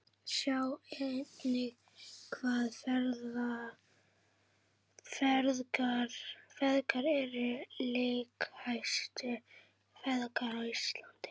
Sjá einnig: Hvaða feðgar eru leikjahæstu feðgar á Íslandi?